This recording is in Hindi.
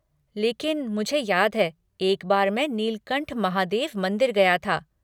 लेकिन मुझे याद है, एक बार मैं नीलकंठ महादेव मंदिर गया था।